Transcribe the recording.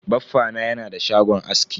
Baffa na yana da shagon aski.